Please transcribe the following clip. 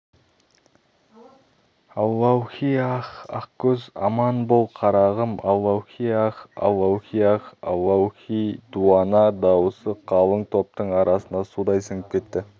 аллаухи-ах ақкөз аман бол қарағым аллаухи-ах аллаухи-ах аллаухи дуана дауысы қалың топтың арасына судай сіңіп кетті